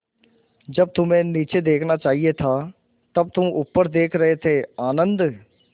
जब तुम्हें नीचे देखना चाहिए था तब तुम ऊपर देख रहे थे आनन्द